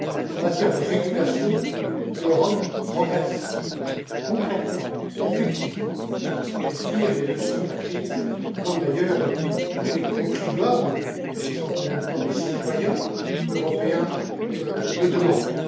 en matière de régulation, l'Europe progresse concrètement, effectivement, et elle tire les leçons de la crise, comme d'ailleurs tous les contribuables, qui sont en même temps des citoyens européens, le demandent.